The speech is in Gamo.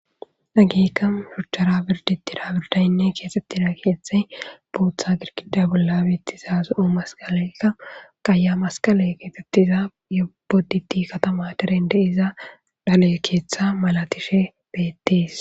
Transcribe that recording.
Nagiika mihuchara birditira birdaynne keexettida keeththa bootha girkida bolla beettiza zo'o masqaleykka qaaya masqale keexettiza yeboditi katama dirende iza dale keeththa malatishe beetties